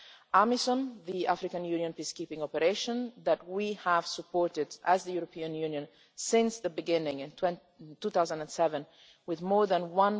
AMISOM, the African Union peacekeeping operation that the European Union has supported since the beginning in 2007, with more than EUR